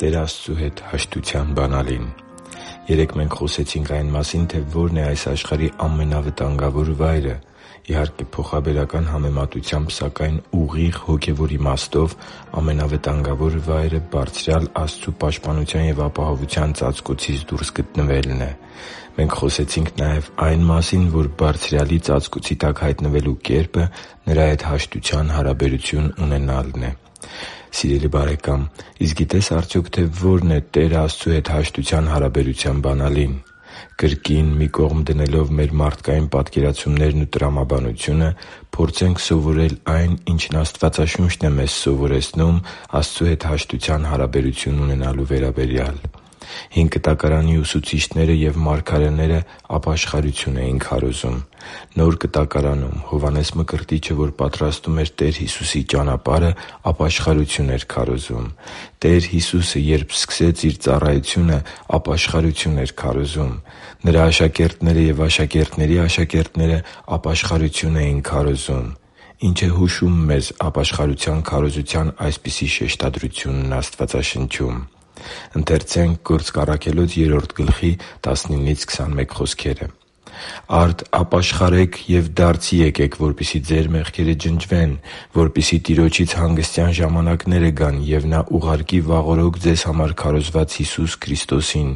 Տեր Աստծու հետ հաշտության բանալին Երեկ մենք խոսեցինք այն մասին, թե ո՞րն է այս աշխարհի ամենավտանգավոր վայրը։ Իհարկե, փոխաբերական համեմատությամբ, սակայն ուղիղ հոգևոր իմաստով ամենավտանգավոր վայրը Բարձրյալ Աստծու պաշտպանության և ապահովության ծածկոցից դուրս գտնվելն է։ Մենք խոսեցինք նաև այն մասին, որ Բարձրյալի ծածկոցի տակ հայտնվելու կերպը Նրա հետ հաշտության հարաբերություն ունենալն է։ Սիրելի՛ *|FNAME|*, իսկ գիտե՞ս արդյոք, թե ո՛րն է Տեր Աստծու հետ հաշտության հարաբերության բանալին։ Կրկին, մի կողմ դնելով մեր մարդկային պատկերացումներն ու տրամաբանությունը՝ փորձենք սովորել այն, ինչն Աստվածաշունչն է մեզ սովորեցնում Տեր Աստծու հետ հաշտության հարաբերություն ունենալու վերաբերյալ։ Հին Կտակարանի ուսուցիչները և մարգարեները ապաշխարություն էին քարոզում։ Նոր Կտակարանում Հովհաննես Մկրտիչը, որ պատրաստում էր Տեր Հիսուսի ճանապարհը, ապաշխարություն էր քարոզում։ Տեր Հիսուսը, երբ սկսեց Իր ծառայությունը, ապաշխարություն էր քարոզում։ Նրա աշակերտները և աշակերտների աշակերտները ապաշխարություն էին քարոզում։ Ի՞նչ է հուշում մեզ ապաշխարության քարոզության այսպիսի շեշտադրությունն Աստվածաշնչում։ «Արդ ապաշխարե՛ք ու դարձի՛ եկեք, որպեսզի ձեր մեղքերը ջնջվեն, որպեսզի Տիրոջից հանգստյան ժամանակները գան, և Նա ուղարկի վաղօրոք ձեզ համար քարոզված Հիսուս Քրիստոսին.